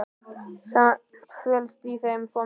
Samt felst í þeim svo mikið.